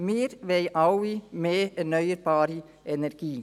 Wir wollen alle mehr erneuerbare Energie.